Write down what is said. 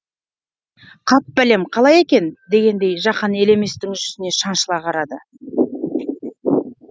қап бәлем қалай екен дегендей жақан елеместің жүзіне шаншыла қарады